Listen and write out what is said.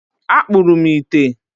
Akpụrụ m ite.